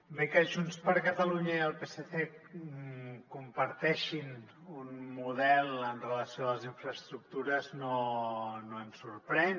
bé que junts per catalunya i el psc comparteixin un model amb relació a les infraestructures no ens sorprèn